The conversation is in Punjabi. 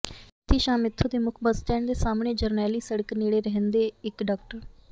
ਬੀਤੀ ਸ਼ਾਮ ਇੱਥੋਂ ਦੇ ਮੁੱਖ ਬੱਸ ਸਟੈਂਡ ਦੇ ਸਾਹਮਣੇ ਜਰਨੈਲੀ ਸੜਕ ਨੇੜੇ ਰਹਿੰਦੇ ਇਕ ਡਾ